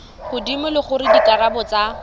godimo le gore dikarabo tsa